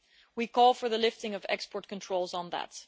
We call for the lifting of export controls on that.